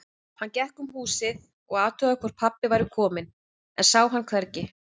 Hann gekk um húsið og athugaði hvort pabbi væri kominn, en sá hann hvergi.